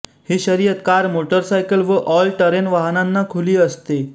ही शर्यत car motorcycle व all terrain खुली असते